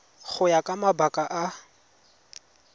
go ya ka mabaka a